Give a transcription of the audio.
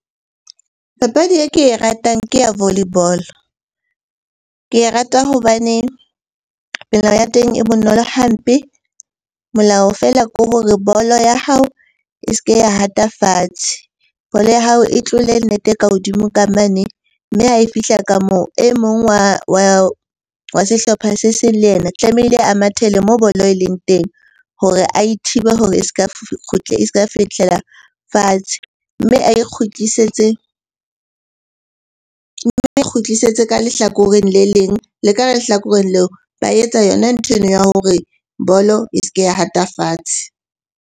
Papadi e ke e ratang ke ya volleyball-o. Ke e rata hobane ya teng e bonolo hampe. Molao feela ko hore ball-o ya hao e se ke ya hata fatshe, bolo ya hao e tlole net-e ka hodimo ka mane. Mme ha e fihla ka moo e mong wa sehlopha se seng le yena tlamehile a mathele moo bolo e leng teng hore a thibe hore e s'ka s'ka ka fihlela fatshe. Mme ae kgutlisetse, mme ae kgutlisetse ka lehlakoreng le leng. Le ka lehlakoreng leo ba etsa yona nthwena ya hore bolo e se ke ya hata fatshe.